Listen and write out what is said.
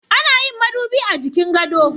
Ana yin madubi a jikin gado.